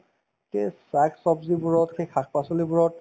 সেই saag ছব্জিবোৰত সেই শাক-পাচলিবোৰত